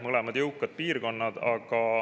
Mõlemad on jõukad piirkonnad.